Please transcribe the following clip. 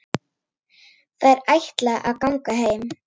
Þær ætla að ganga heim.